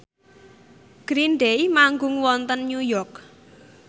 Green Day manggung wonten New York